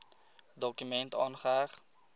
dokument aangeheg